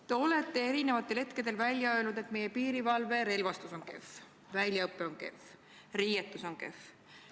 Te olete eri hetkedel öelnud, et meie piirivalve relvastus on kehv, väljaõpe on kehv, riietus on kehv.